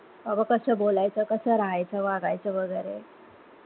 आता कस बोलायच, राहायच, वागायच वगैरे,